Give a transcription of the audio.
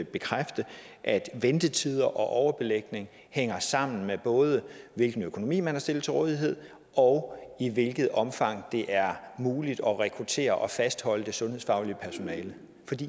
bekræfte at ventetider og overbelægning hænger sammen med både hvilken økonomi man har stillet til rådighed og i hvilket omfang det er muligt at rekruttere og fastholde det sundhedsfaglige personale